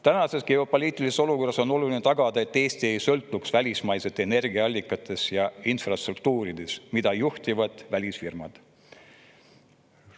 Tänases geopoliitilises olukorras on oluline tagada, et Eesti ei sõltuks välismaistest energiaallikatest ja infrastruktuurist, mida välisfirmad.